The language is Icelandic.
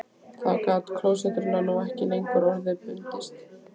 Þá gat klósettrúllan nú ekki lengur orða bundist